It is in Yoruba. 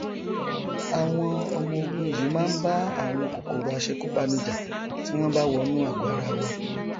àwọn ọmọogun yìí máa nbá àwọn kòkòrò aṣekúpani jà tí wọn bá wọnú àgọ ara wa